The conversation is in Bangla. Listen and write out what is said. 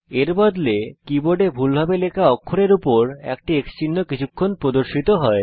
এর বদলে কীবোর্ডে ভুলভাবে লেখা অক্ষরের উপর একটি X চিহ্ন কিছুক্ষণ প্রদর্শিত হয়